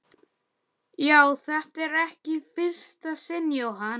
Já, þetta er ekki í fyrsta sinn Jóhann.